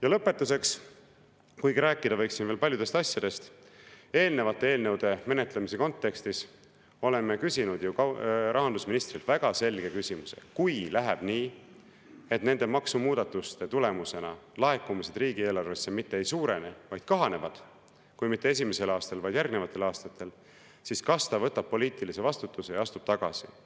Ja lõpetuseks, kuigi rääkida võiksin veel paljudest asjadest, eelnevate eelnõude menetlemise kontekstis oleme küsinud ju rahandusministrilt väga selge küsimuse: kui läheb nii, et nende maksumuudatuste tulemusena laekumised riigieelarvesse mitte ei suurene, vaid kahanevad, küll mitte esimesel aastal, kuid järgnevatel aastatel, siis kas ta võtab poliitilise vastutuse ja astub tagasi?